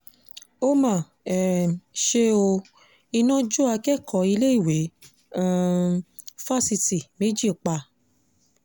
ó mà um ṣe ó iná jó akẹ́kọ̀ọ́ iléèwé um fásitì méjì pa